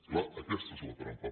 clar aquesta és la trampa